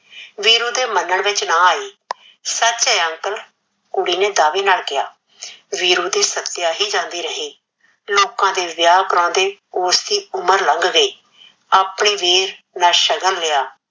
ਵੀਰੂ ਦੇ ਮੰਨਣ ਵਿੱਚ ਨਾਂ ਆਈ, ਸੱਚ ਏ uncle ਕੁੜੀ ਨੇ ਦਾਵੇ ਨਾਲ ਕਿਆ, ਵੀਰੂ ਦੀ ਸੱਤਿਆ ਹੀ ਜਾਂਦੀ ਰਹੀ, ਲੋਕਾ ਦੇ ਵਿਆਹ ਕਰਵਾਉਂਦੇ ਉਸਦੀ ਉਮਰ ਲੰਘ ਗਈ ਆਪਣੇ ਵੀਰ ਨਾਂ ਸ਼ਗਨ ਲਿਆ,